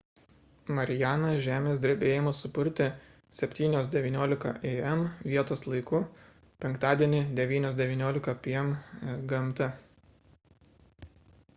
marianą žemės drebėjimas supurtė 07:19 a.m. vietos laiku penktadienį 09:19 p.m. gmt